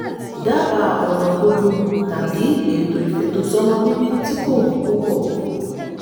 dábàá ọ̀nà gbogbogbò tàbí ètò ìfètòsọ́mọbíbí tí kò wọ́n púpọ̀